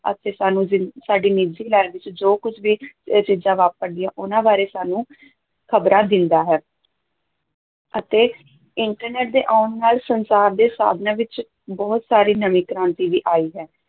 ਅਤੇ ਸਾਨੂੰ ਜ਼ਿ ਸਾਡੀ ਨਿੱਜੀ life ਚ ਜੋ ਕੁੱਝ ਵੀ ਇਹ ਚੀਜ਼ਾਂ ਵਾਪਰਦੀਆਂ, ਉਹਨਾਂ ਬਾਰੇ ਸਾਨੂੰ ਖ਼ਬਰਾਂ ਦਿੰਦਾ ਹੈ ਅਤੇ internet ਦੇ ਆਉਣ ਨਾਲ ਸੰਚਾਰ ਦੇ ਸਾਧਨਾਂ ਵਿੱਚ ਬਹੁਤ ਸਾਰੀ ਨਵੀਂ ਕ੍ਰਾਂਤੀ ਵੀ ਆਈ ਹੈ